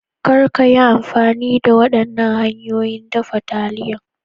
Kar ka yi amfani da waɗannan hanyoyin dafa taliyani.